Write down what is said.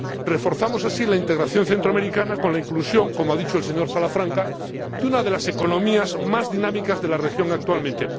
Reforzamos así la integración centroamericana con la inclusión —como ha dicho el señor Salafranca— de una de las economías más dinámicas de la región actualmente.